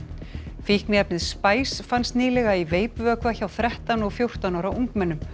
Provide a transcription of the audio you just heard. fíkniefnið fannst nýlega í veipvökva hjá þrettán og fjórtán ára ungmennum